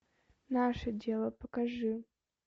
наше дело покажи